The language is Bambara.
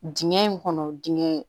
Dingɛ in kɔnɔ dingɛ in